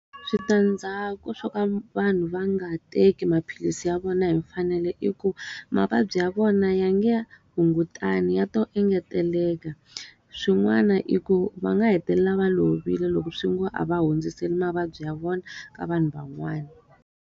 Switandzhaku swo ka vanhu va nga teki maphilisi ya vona hi mfanelo i ku, mavabyi ya vona ya nge hungutani ya to engeteleka. Swin'wana i ku va nga hetelela va lovile loko swi ngo a va hundziseli mavabyi ya vona ka vanhu van'wana.